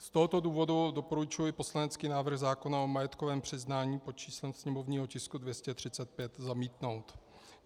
Z tohoto důvodu doporučuji poslanecký návrh zákona o majetkovém přiznání pod číslem sněmovního tisku 235 zamítnout.